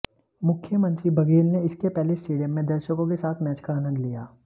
मुख्यमंत्री बघेल ने इसके पहले स्टेडियम में दर्शकों के साथ मैच का आनन्द लिया